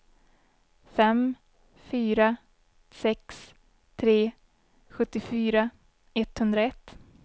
fem fyra sex tre sjuttiofyra etthundraett